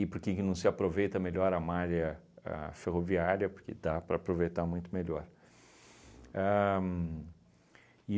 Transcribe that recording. porque que não se aproveita melhor a malha a ferroviária, porque dá para aproveitar muito melhor. Ahn